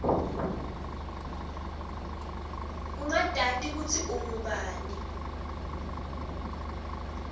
ungatati kutsi ungubani